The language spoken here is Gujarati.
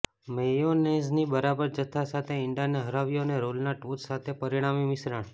મેયોનેઝની બરાબર જથ્થા સાથે ઇંડાને હરાવ્યું અને રોલના ટોચ સાથે પરિણામી મિશ્રણ